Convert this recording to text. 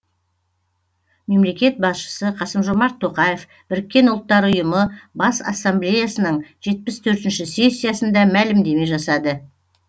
мемлекет басшысы қасым жомарт тоқаев біріккен ұлттар ұйымы бас ассамблеясының жетпіс төртінші сессиясында мәлімдеме жасады